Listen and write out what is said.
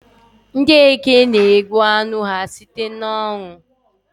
Ndị Eke na-egbu anụ ha site n'ụnwụ